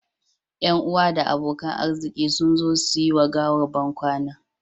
Yan uwa da abokan arziki sun zo su yi wa gawar bankwana